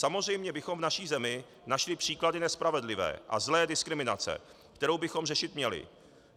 Samozřejmě bychom v naší zemi našli příklady nespravedlivé a zlé diskriminace, kterou bychom řešit měli.